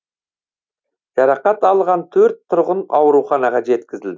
жарақат алған төрт тұрғын ауруханаға жеткізілді